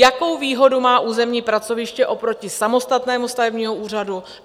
Jakou výhodu má územní pracoviště oproti samostatnému stavebnímu úřadu?